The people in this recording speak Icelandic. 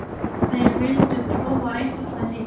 Þeir vildu prófa eitthvað nýtt.